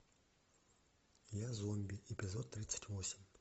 я зомби эпизод тридцать восемь